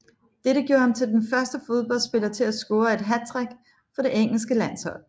Dette gjorde ham til den første fodboldspiller til at score et hattrick for det engelske landshold